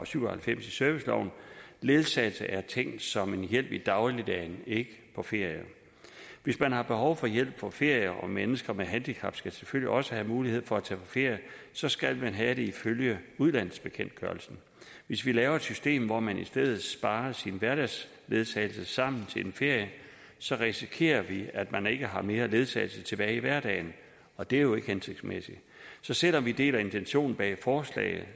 syv og halvfems i serviceloven ledsagelse er tænkt som en hjælp i dagligdagen ikke på ferier hvis man har behov for hjælp på ferier og mennesker med handicap skal selvfølgelig også have mulighed for at tage på ferie så skal man have det ifølge udlandsbekendtgørelsen hvis vi laver et system hvor man i stedet sparer sin hverdagsledsagelse sammen til en ferie så risikerer vi at man ikke har mere ledsagelse tilbage i hverdagen og det er jo ikke hensigtsmæssigt så selv om vi deler intentionen bag forslaget